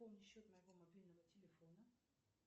пополни счет моего мобильного телефона